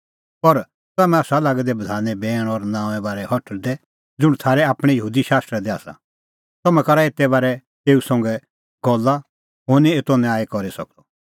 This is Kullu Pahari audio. पर तम्हैं आसा लागै दै बधाने बैण और नांओंए बारै हठल़दै ज़ुंण थारै आपणैं यहूदी शास्त्रा दी आसा तम्हैं करा एते बारै आप्पै एऊ संघै गल्ला हुंह निं एतो न्याय करी सकदअ